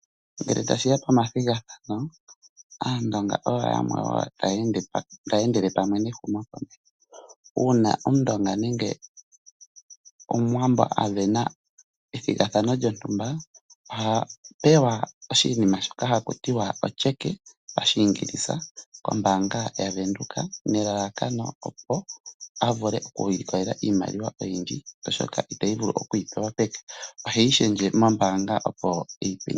Ngele tashi ya pomathigathano, Aandonga oyo yamwe wo taya endele pamwe nehumokomeho. Uuna Omundonga nenge Omuwambo a sindana ethigathano lyontumba, oha pewa oshinima shono haku tiwa otyeke kombaanga yaVenduka nelalakano opo a vule okuilikolela iimaliwa oyindji, oshoka ita vulu okuyi pewa peke. Oheyi shendje mombaanga.